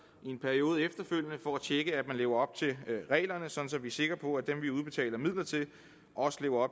i en periode efterfølgende for at de at man lever op til reglerne sådan vi sikre på at dem vi udbetaler midler til også lever